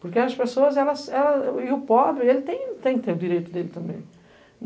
Porque as pessoas, elas... e o pobre, ele tem que ter o direito dele também.